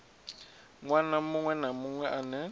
ṅwana muṅwe na muṅwe ane